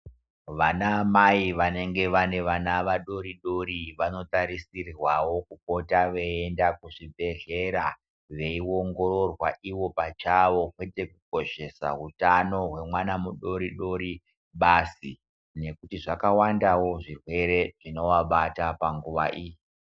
Vanamai vanenge vane vana vadoridori, vanotarisirwawo kupota veyiyenda kuzvibhedhlera veyiongororwa iwo pachawo, kwete kukoshesa utano hwemwana mudoridori basi nekuti zvakawandawo zvirwere zvinovabata panguwa iyi.